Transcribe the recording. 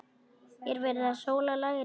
Er verið að sóla lærin?